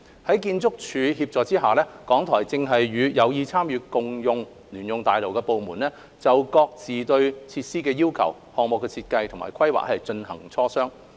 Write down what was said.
在建築署協助下，港台正和有意參與共用聯用大樓的部門，就各自對設施的要求、項目設計及規劃進行磋商。